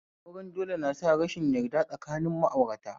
Auren dole na sa rashin yarda tsakanin ma'aurata